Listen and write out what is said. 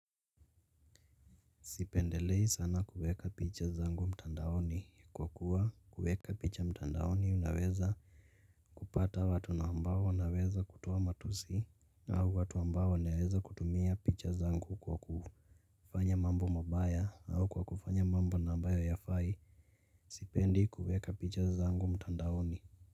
Sipendelei sana kuweka picha zangu mtandaoni kwa kuwa kuweka picha mtandaoni unaweza kupata watu ambao wanaweza kutoa matusi au watu ambao wanaweza kutumia picha zangu kwa ku kufanya mambo mabaya au kwa kufanya mambo ambayo hayafai. Sipendi kuweka picha zangu mtandaoni.